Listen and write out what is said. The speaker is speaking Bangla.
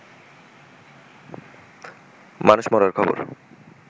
মানুষ মরার খবর